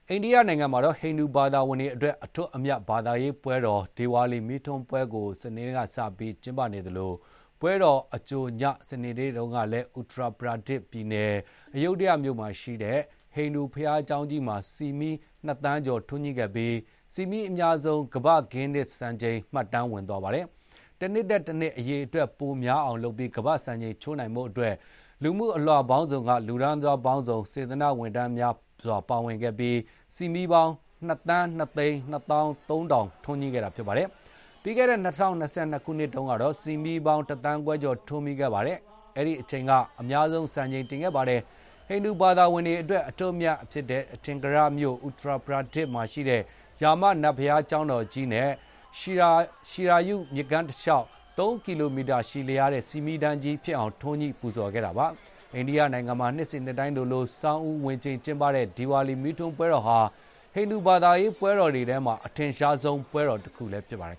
အိန္ဒိယနိုင်ငံမှာ ဟိန္ဒူဘာသာဝင်တွေ အတွက် အထွဋ်အမြတ် ဘာသာရေးပွဲတော် ဒီဝါလီ မီးထွန်းပွဲ ဒီကနေ့က စပြီး ကျင်းပနေကြသလို၊ ပွဲတော်အကြိုည စနေနေ့တုန်းကတော့ Uttar Pradesh ပြည်နယ်၊ အယုဒ္ဒယမြို့မှာရှိတဲ့ ဟိန္ဒူ ဘုရားကျောင်းကြီးမှာ ဆီမီး ၂ သန်းကျော် ထွန်းညှိပြီး ဆီမီးအများဆုံး ကမ္ဘာ့ ဂင်းနစ်စံချိန် မှတ်တမ်း ဝင်သွားပါတယ်။ တနှစ်ထက်တနှစ် အရေအတွက် ပိုများအောင် လုပ်ပြီး ကမ္ဘာ့ စံချိန်ချိုးနိုင်ဖို့အတွက် လူမှု အလွှာပေါင်းစုံက လူတန်းစား ပေါင်းစုံ စေတနာ့ဝန်ထမ်းများစွာ ပါဝင်ခဲ့ကြပြီး ဆီမီးပေါင်း ၂ သန်း ၂ သိန်း ၂ သောင်း ၃ ထောင် ထွန်းညှိခဲ့ကြတာပါ။ ပြီးခဲ့တဲ့ ၂၀၂၂ ခုနှစ်တုန်းကတော့ ဆီမီးပေါင်း ၁ သန်းခွဲကျော် ထွန်းပြီး အဲ့ဒီအချိန်က အများဆုံး စံချိန် တင်ခဲ့ပါတယ်။ ဟိန္ဒူ ဘာသာဝင်တွေ အတွက် မြင့်မြတ်တဲ့ အထင်ကရမြို့ Uttar Pradesh မှာရှိတဲ့ ရာမ နတ်ဘုရားကျောင်းတော်ကြီးနဲ့ Sarayu မြစ်ကမ်းတလျှောက် ၃ ကီလိုမီတာရှည်လျားတဲ့ ဆီမီးတန်းကြီး ဖြစ်အောင် ထွန်းညှိ ပူဇော်ခဲ့ကြတာပါ။ အိန္ဒိယနိုင်ငံမှာ နှစ်စဥ်နှစ်တိုင်း ခုလို ဆောင်းဦးဝင်ချိန် ကျင်းပတဲ့ ဒီပါလီ မီးထွန်းပွဲ တော်ဟာ ဟိန္ဒူဘာသာရေး ပွဲတော်တွေထဲမှာတော့ အထင်ရှားဆုံး ပွဲတော်တခုဖြစ်ပါတယ်